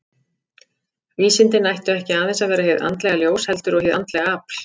Vísindin ættu ekki aðeins að vera hið andlega ljós, heldur og hið andlega afl.